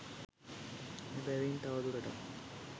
එබැවින් තවදුරටත්